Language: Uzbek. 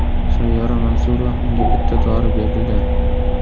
Sayyora Mansurova unga bitta dori berdida.